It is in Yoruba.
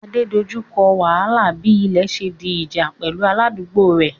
Ade dojú kọ wàhálà bí ilẹ̀ ṣe di ìjà pẹ̀lú aládùúgbò rẹ̀